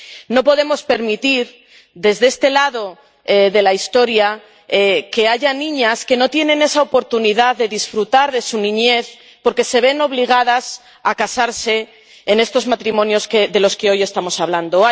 No podemos permitir desde este lado de la historia que haya niñas que no tienen esa oportunidad de disfrutar de su niñez porque se ven obligadas a casarse, a contraer estos matrimonios de los que hoy estamos hablando.